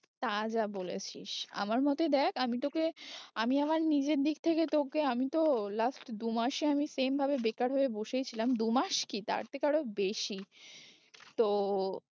তা যা বলেছিস আমার মতে দেখ আমি তোকে আমি আমার নিজের দিক থেকে তোকে, আমি তো last দু মাসে আমি same ভাবে বেকার হয়ে বসেই ছিলাম, দু মাস কি তার থেকে আরো বেশি তো